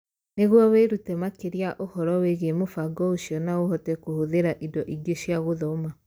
Nĩguo wĩrute makĩria ũhoro wĩgiĩ mũbango ũcio na ũhote kũhũthĩra indo ingĩ cia gũthoma